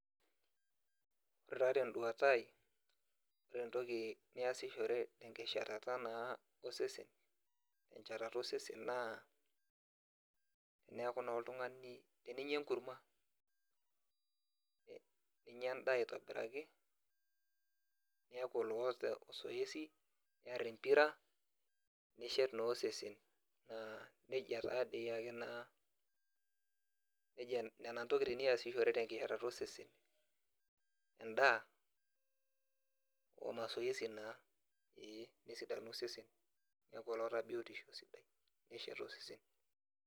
Ore taa tenduata aai ore entoki niasishore tenkisharata osesen naa neaku naa oltungani teninya enkurma, ninya endaa aitobiraki niaku olensoesi niar empira nishet naa osesen ,na nejia taa nona ntokitin niasishore tenkishetata osesen endaa.